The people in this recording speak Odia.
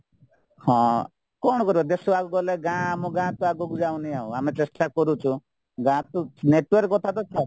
ହଁ କ'ଣ କରିବା ଦେଶ ଆଗକୁ ଗଲେ ଗାଁ ଆମ ଗାଁ ତ ଆଗକୁ ଯାଉନି ଆଉ ଆମେ ଚେଷ୍ଟା କରୁଛୁ ଗାଁତ network କଥାତ ଛାଡ